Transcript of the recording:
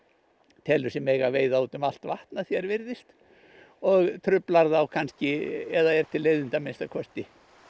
telur sig mega veiða út um allt vatn að því er virðist og truflar þá kannski eða er til leiðinda að minnsta kosti